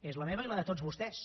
és la meva i la de tots vostès